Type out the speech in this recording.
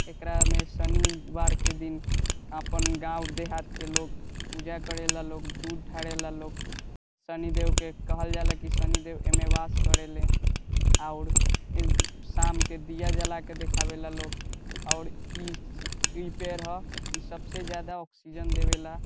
एकरा में शनिवार के दिन अपन गांव देहात के लोग पूजा करेला लोग दूध ढारेला लोग शनिदेव के कहल जाला की शनिदेव एमे वास करेले और एम शाम के दिया जला के देखावे ला लोग और इ इ पेड़ ह इ सबसे ज्यादा ऑक्सीजन देवेला।